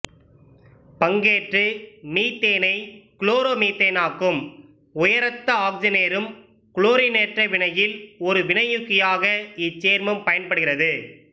பங்கேற்று மீத்தேனை குளோரோ மீத்தேனாக்கும் உயரழுத்த ஆக்கிசனேறும் குளோரினேற்ற வினையில் ஒரு வினையூக்கியாக இச்சேர்மம் பயன்படுகிறது